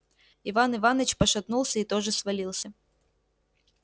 иван иваныч пошатнулся и тоже свалился